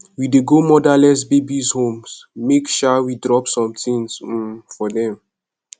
we dey go motherless babies home make um we go drop some tins um for dem